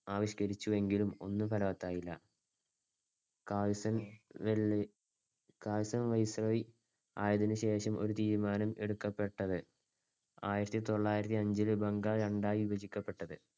ആവിഷ്‌കരിച്ചെങ്കിലും ഒന്നും ഫലവത്തായില്ല. Curzon Curzon viceroy ആയതിനുശേഷം ഒരു തീരുമാനം എടുക്കപ്പെട്ടത്. ആയിരത്തിതൊള്ളായിരത്തിഅഞ്ചിൽ ബംഗാൾ രണ്ടായി വിഭജിക്കപ്പെട്ടത്.